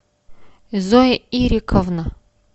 зоя ириковна